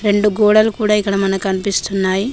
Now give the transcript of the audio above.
రెండు గోడలు కూడా ఇక్కడ మనకు కనిపిస్తున్నాయి.